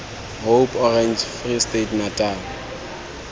hope orange free state natal